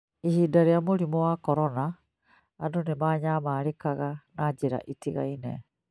Ihinda-inĩ rĩa mũrimũ wa korona, andũ nĩ maanyamarĩkaga na njĩra itiganĩte